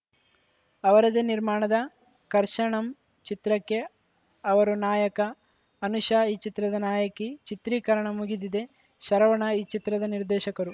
ಅವರದೇ ನಿರ್ಮಾಣದ ಕರ್ಷಣಂ ಚಿತ್ರಕ್ಕೆ ಅವರು ನಾಯಕ ಅನುಷಾ ಈ ಚಿತ್ರದ ನಾಯಕಿ ಚಿತ್ರೀಕರಣ ಮುಗಿದಿದೆ ಶರವಣ ಈ ಚಿತ್ರದ ನಿರ್ದೇಶಕರು